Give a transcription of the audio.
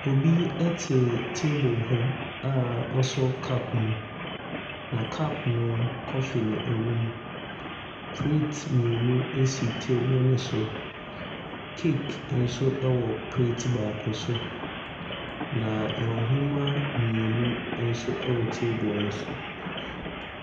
Obi te table ho a wasɔ cup mu. Na cup no, coffee na ɛwom. Plate mmienu si table no so. Cake nso wɔ plate baako so, na nhoma mmienu nso wɔ table no so.